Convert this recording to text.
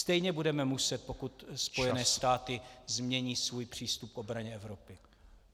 Stejně budeme muset , pokud Spojené státy změní svůj přístup k obraně Evropy.